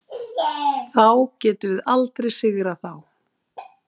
Þá getum við aldrei sigrað þá.